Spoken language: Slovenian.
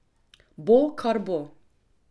Bo, kar bo!